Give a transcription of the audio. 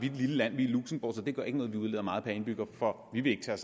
et lille land vi er luxembourg så det gør ikke noget vi udleder meget per indbygger for vi vil ikke tage